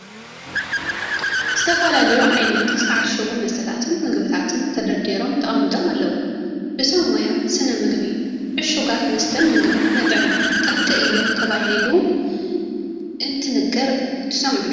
ዝተፈላለዩ ዓይነት ዝተዓሸጉ መስተታትን ምግብታትን ተደርዲሮም ተቐሚጦም ኣለዉ፡፡ ብሰብ ሞያ ስነ ምግቢ ዕሹጋት መስተን ምግብን ንጥዕና ጠንቂ እዮም ተባሂሉ እንትንገር ትሰምዑ ዶ?